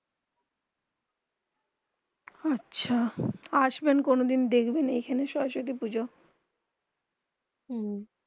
আচ্ছা আসবেন কোনো দিন দেখবেন এখানে সরস্বতী পুজো